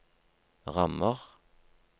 rammer